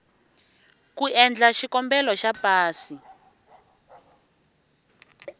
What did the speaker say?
ku endla xikombelo xa pasi